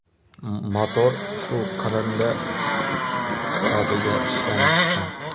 Motor shu qirindi hisobiga ishdan chiqqan.